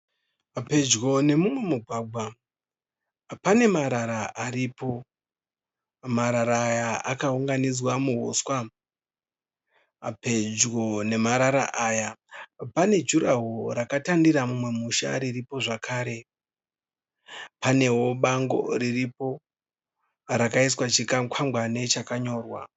Pedyo nemumwe mugwagwa pane marara aripo. Marara aya akaunganidzwa muhuswa. Pedyo nemarara aya pane jurahoro rakatanira mumwe musha riripo zvakare. Panewo bango riripo rakaiswa chikwangwani chakanyorwa